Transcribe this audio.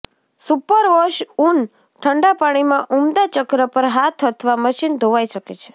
superwash ઊન ઠંડા પાણીમાં ઉમદા ચક્ર પર હાથ અથવા મશીન ધોવાઇ શકે છે